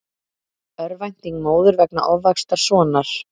Örvænting móður vegna ofvaxtar sonar